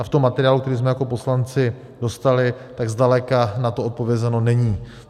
A v tom materiálu, který jsme jako poslanci dostali, tak zdaleka na to odpovězeno není.